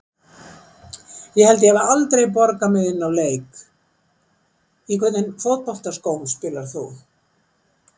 Ég held ég hafi aldrei borgað mig inná leik Í hvernig fótboltaskóm spilar þú?